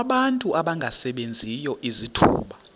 abantu abangasebenziyo izithuba